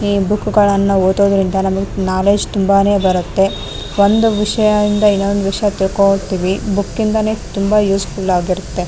ಈ ಬುಕ್ಕ್ ಗಳನ್ನ ಓದೊದ್ರಿಂದ ನಮಗೆ ನೋಲೆಡ್ಜ್ ತುಂಬಾನೆ ಬರುತ್ತೆ ಒಂದು ವಿಷಯದಿಂದ ಇನ್ನೊಂದು ವಿಷಯ ತಿಳ್ಕೊಂತಿವಿ ಬುಕ್ಕ್ ಇಂದ ತುಂಬಾ ಯೂಸ್ಫುಲ್ ಆಗಿತುತ್ತೆ.